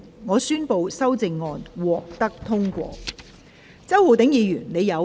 我宣布修正案獲得通過。